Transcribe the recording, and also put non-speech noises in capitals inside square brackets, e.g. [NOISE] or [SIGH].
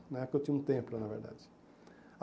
Na época eu tinha um, [UNINTELLIGIBLE] na verdade.